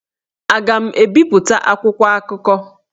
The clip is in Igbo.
Aga m ebipụta akwụkwọ akụkọ?